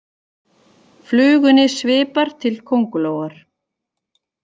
Flugunni svipar til kóngulóar